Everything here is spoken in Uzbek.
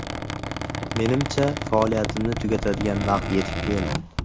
Menimcha, faoliyatimni tugatadigan vaqt yetib keldi.